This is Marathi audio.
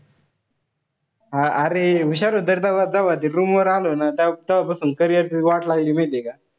हा अरे हुशार होता रे तव्हा ते room वर आलो ना. त तव्हा पासून carrier ची वाट लागली माहितीये का?